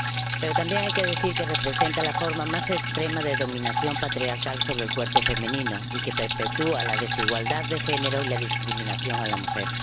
Pero también hay que decir que representa la forma más extrema de dominación patriarcal sobre el cuerpo femenino y que perpetúa la desigualdad de género y la discriminación de la mujer.